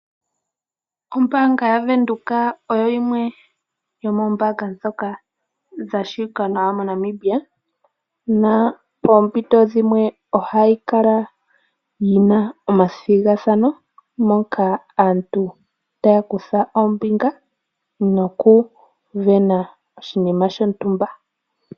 Ombaanga ya Windhoek oyo yimwe yomombaanga dha shi wikwa nawa na poompito dhimwe ohayi kala yina omathigathano moka aantu taya kutha ombinga nokuvena oshinima shontumba.